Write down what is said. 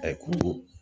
ko